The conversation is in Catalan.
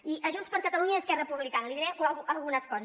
i a junts per catalunya i esquerra republicana els diré algunes coses